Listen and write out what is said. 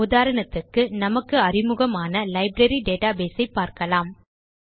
உதாரணத்துக்கு நமக்கு அறிமுகமான லைப்ரரி டேட்டாபேஸ் ஐ பார்க்கலாம்